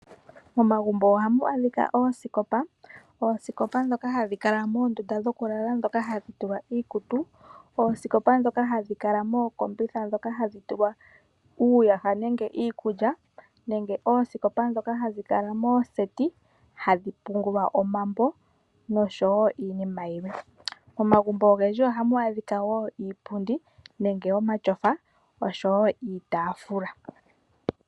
Momagumbo ohamu adhika oosikopa. Oosikopa ndhoka hadhi kala moondunda dhokulala hadhi tulwa iikutu, oosikopa ndhoka hadhi kala mookombitha ndhoka hadhi tulwa uuyaha nenge iikulya nenge oosikopa ndhoka hadhi kala mooseti hadhi pungulwa omambo noshowo iinima yilwe. Momagumbo ogendji ohamu adhika wo iipundi nenge omatyofa noshowo iitaafula.